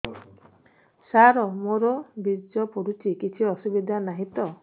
ସାର ମୋର ବୀର୍ଯ୍ୟ ପଡୁଛି କିଛି ଅସୁବିଧା ନାହିଁ ତ